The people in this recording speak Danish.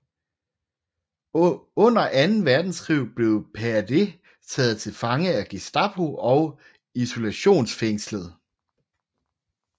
Under anden verdenskrig blev Pade taget til fange af Gestapo og isolationsfængslet